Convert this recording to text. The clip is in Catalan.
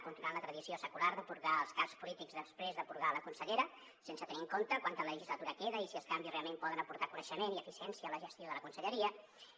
continuant la tradició secular de purgar els caps polítics després de purgar la consellera sense tenir en compte quanta legislatura queda i si els canvis realment poden aportar coneixement i eficiència a la gestió de la conselleria